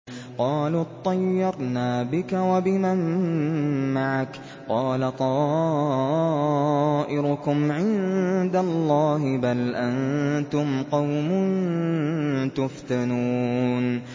قَالُوا اطَّيَّرْنَا بِكَ وَبِمَن مَّعَكَ ۚ قَالَ طَائِرُكُمْ عِندَ اللَّهِ ۖ بَلْ أَنتُمْ قَوْمٌ تُفْتَنُونَ